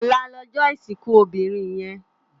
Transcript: Òlá lòjò isinkú óbirin yèn